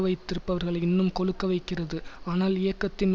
வைத்திருப்பவர்களை இன்னும் கொழுக்க வைக்கிறது ஆனால் இயக்கத்தின்